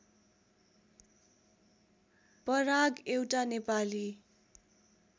पराग एउटा नेपाली